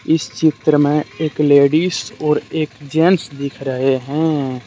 इस चित्र में एक लेडिस और एक जेंट्स दिख रहे हैं।